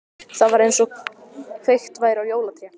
Það var einsog kveikt væri á jólatré.